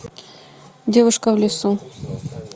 девушка в лесу